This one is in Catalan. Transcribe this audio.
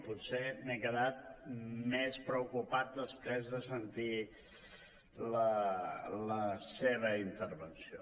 potser m’he quedat més preocupat després de sentir la seva intervenció